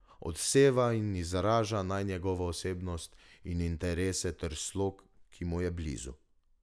Odseva in izraža naj njegovo osebnost in interese ter slog, ki mu je blizu.